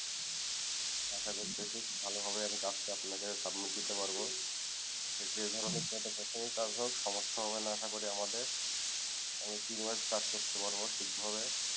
আসা করছি ভালো ভাবে আমি কাজটা আপনাকে submit দিতে পারবো সে যে ধরণের কোনো সমস্যা কাজ হোক সমস্যা হবে না আসা করি আমাদের আমি ঠিক ভাবে কাজ করতে পারবো ঠিক ভাবে